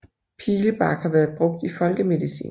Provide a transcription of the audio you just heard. Pilebark har været brugt i folkemedicin